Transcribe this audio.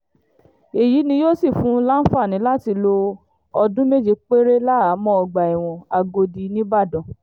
èyí ni yóò sì fún un láǹfààní láti lo ọdún méje péré lẹ́hàámọ́ ọgbà ẹ̀wọ̀n àgòdì nígbàdàn